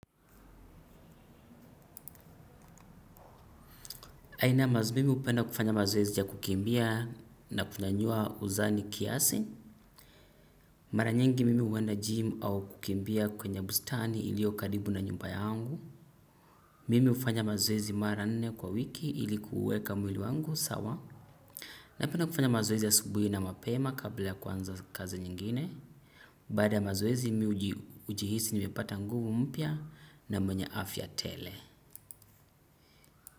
Aina ya mazoezi, mimi hupenda kufanya mazoezi ya kukimbia na kunyanyua uzani kiasi. Mara nyingi mimi huenda gym au kukimbia kwenye bustani ilio karibu na nyumba yangu. Mimi hufanya mazoezi mara nne kwa wiki, ili kuweka mwili wangu sawa. Napenda kufanya mazoezi asubuhi na mapema kabla ya kuanza kazi nyingine. Baada ya mazoezi mimi hujihisi nimepata nguvu mpya na raha tele.